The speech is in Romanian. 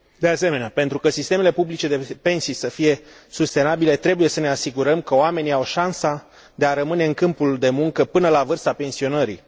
De asemenea, pentru ca sistemele publice de pensii să fie sustenabile, trebuie să ne asigurăm că oamenii au șansa de a rămâne în câmpul de muncă până la vârsta pensionării.